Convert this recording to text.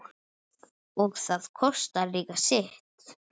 og það kostar líka sitt.